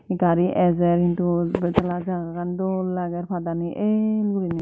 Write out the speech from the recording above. gari ejer hee dol betala jagagan dol lager padani el gurine.